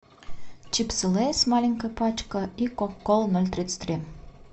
чипсы лейс маленькая пачка и кока кола ноль тридцать три